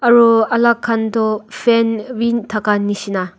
aru alak khan toh fan wind thaka nishina.